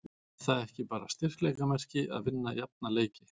Er það ekki bara styrkleikamerki að vinna jafna leiki?